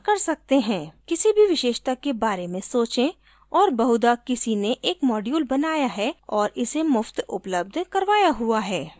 किसी भी विशेषता के बारे में सोचें और बहुदा किसी ने एक module बनाया है और इसे मुफ्त उपलब्ध करवाया हुआ है